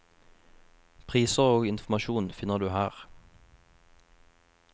Priser og informasjon finner du her.